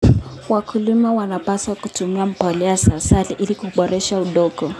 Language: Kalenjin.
Wakulima wanapaswa kutumia mbolea za asili ili kuboresha udongo.